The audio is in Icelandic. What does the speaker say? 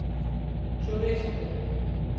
Svo reis hann upp.